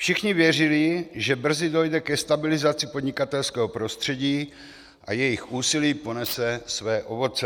Všichni věřili, že brzy dojde ke stabilizaci podnikatelského prostředí a jejich úsilí ponese své ovoce.